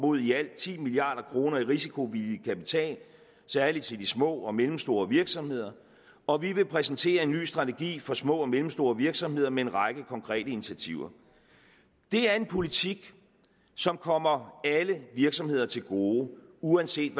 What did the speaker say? mod i alt ti milliard kroner i risikovillig kapital særlig til de små og mellemstore virksomheder og vi vil præsentere en ny strategi for små og mellemstore virksomheder med en række konkrete initiativer det er en politik som kommer alle virksomheder til gode uanset